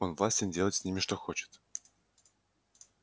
он властен делать с ними что хочет